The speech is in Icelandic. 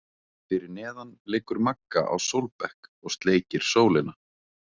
Fyrir neðan liggur Magga á sólbekk og sleikir sólina.